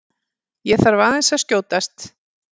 ÉG ÞARF AÐEINS AÐ SKJÓTAST!